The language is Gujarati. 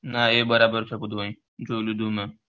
ના એ બરાબર છે બધું આઈ જોઈ લીધું મેં